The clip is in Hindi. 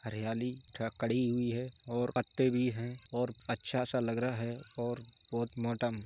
हरयाली का कड़ी हुई है और पत्ते भी हैं और अच्छा सा लग रहा है और बोहोत मोटा --